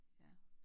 Ja